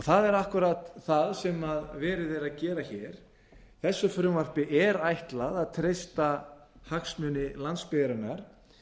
það er akkúrat það sem verið er að gera hér þessu frumvarpi er ætlað að treysta hagsmuni landsbyggðarinnar